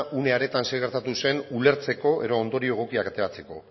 une horretan zer gertatu zen ulertzeko edo ondorio egokiak ateratzeko